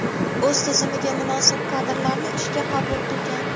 o‘z tizimiga munosib kadrlarni ishga qabul qilgan.